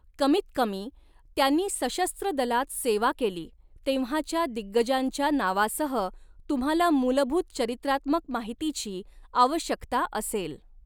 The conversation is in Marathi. कमीतकमी, त्यांनी सशस्त्र दलात सेवा केली तेव्हाच्या दिग्गजांच्या नावासह तुम्हाला मूलभूत चरित्रात्मक माहितीची आवश्यकता असेल.